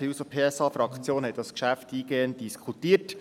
Die SP-JUSO-PSA-Fraktion hat dieses Geschäft eingehend diskutiert.